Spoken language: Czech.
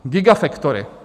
Gigafactory.